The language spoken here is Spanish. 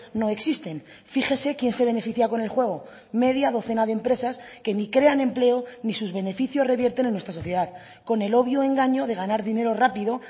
no existen fíjese quién se beneficia con el juego media docena de empresas que ni crean empleo ni sus beneficios revierten en nuestra sociedad con el obvio engaño de ganar dinero rápido